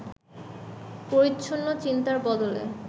পরিচ্ছন্ন চিন্তার বদলে